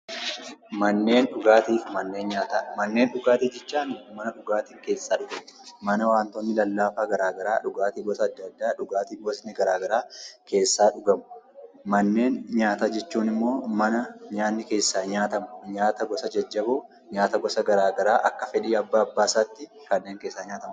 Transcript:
Mannen dhugaatti fi mannen nyaataa. Manaa dhugaatti jechan mana dhugaattin keessa dhugaamu mana dhugaatti lallafaa, dhugaatti gosa adda addaa, dhugaatti gostti gara garaa keessaa dhugaamu. Mannen nyaataa jechuun immoo mana nyaatni keessa nyaatamu nyaatni gosa jajjaboo, nyaataa gosa gara garaa akka fedhi abbasatti kannen keessa nyaatamu.